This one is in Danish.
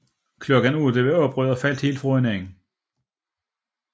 Klokken 8 var oprøret faldet helt fra hinanden